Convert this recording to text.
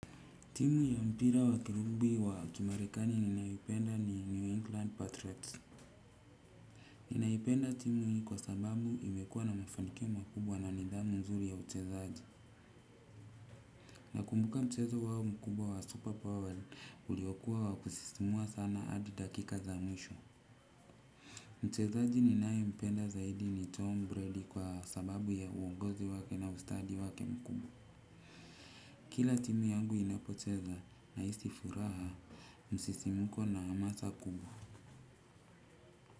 Timu ya mpira wa kirumbi wa kimarekani ninayoipenda ni New England Patriots. Ninaipenda timu hii kwa sababu imekuwa na mafanikio makubwa na nidhamu nzuri ya uchezaji. Nakumbuka mchezo huo mkubwa wa super power uliokuwa wa kusisimua sana hadi dakika za mwisho. Mchezaji ninayempenda zaidi ni Tom Brady kwa sababu ya uongozi wake na ustadi wake mkubwa. Kila timu yangu inapocheza nahisi furaha msisimuko na hamasa kubwa.